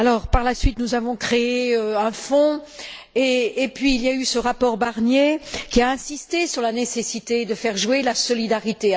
Par la suite, nous avons créé un fonds. Puis, il y a eu ce rapport Barnier, qui a insisté sur la nécessité de faire jouer la solidarité.